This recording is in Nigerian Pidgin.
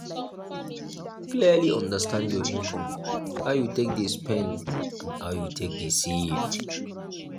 clearly understand your income how you take dey spend and how you take dey save